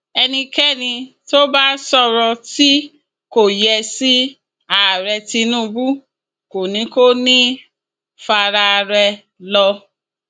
ẹnikẹni tó bá sọrọ tí kò yẹ sí ààrẹ tinubu kò ní kò ní í faraà rẹ lọ